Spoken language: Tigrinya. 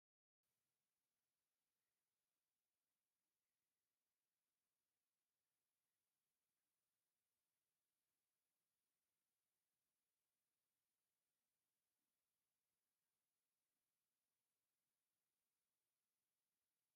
ኣብዚ ፡ብዙሓት ዝበሰሉ ፍረ ኣብ ተክሊ ተሰቒሎም፡ ብብርሃን ጸሓይ ተጠሊቖም ኣለዉ። እቲ ተክሊ ኣራንሺ ሕብሪ ናይቲ ፍረ ደስ ዘብል ኮይኑ፡ ተፈጥሮኣዊ ዕግበትን ውዑይን ዘመሓላልፍ እዩ።